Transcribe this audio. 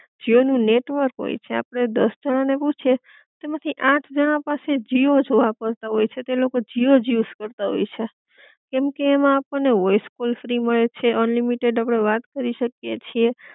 જીઓ નું નેટવર્ક હોય છે, આપડે દસ જણા ને પૂછીએ એમાંથી આઠ જણા પાસે જીઓ જોવા મળતા હોય છે, તે લોકો જીઓ જ યુઝ કરતાં હોય છે, કેમકે એમા આપડ ને વોઇસ કોલ ફ્રી મલે છ, અનલિમિટેડ આપડે વાત કરી શકી એ છે.